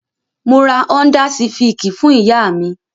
Mo ra Ọ́ńdá sifìkì fún ìyá mi.